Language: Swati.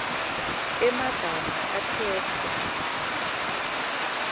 emagama akhetfwe